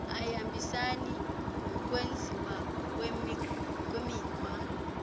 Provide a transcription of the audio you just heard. ayihambisani nokwenziwa kwemikhwa